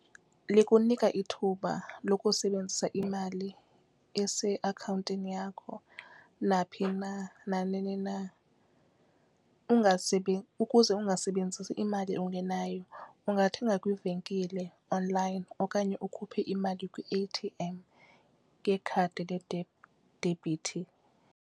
Likunika ithuba lokusebenzisa imali eseakhawuntini yakho naphi na nanini na, ukuze ungasebenzisi imali ungenayo ungathenga kwiivenkile onlayini okanye ukhuphe imali kwi-A_T_M ngekhadi ledebhiithi.